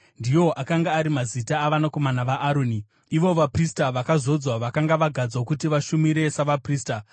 Ndiwo akanga ari mazita avanakomana vaAroni, ivo vaprista vakazodzwa, vakanga vagadzwa kuti vashumire savaprista.